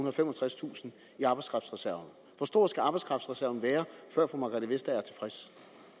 og femogtredstusind i arbejdskraftreserven hvor stor skal arbejdskraftreserven være før fru margrethe vestager er tilfreds